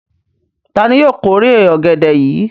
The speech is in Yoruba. Ta ni yóò kórè ọ̀gẹ̀dẹ̀ yìí?